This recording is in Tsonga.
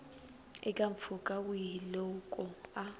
eka mpfhuka wihi loko a